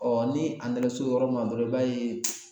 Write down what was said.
ni a nana s'o yɔrɔ ma dɔrɔn i b'a ye